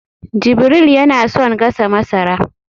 jibril yana son gasa masara